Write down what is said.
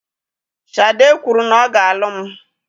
Shade kwuru na ọ ga-alụ m